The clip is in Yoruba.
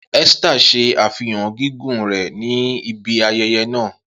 Esther ṣe afihan gigun rẹ ni ibi ayẹyẹ naa.